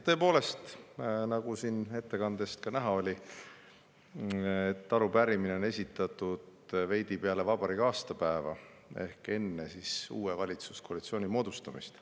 Tõepoolest, nagu siin ettekandest ka oli, arupärimine on esitatud veidi peale vabariigi aastapäeva ehk enne uue valitsuskoalitsiooni moodustamist.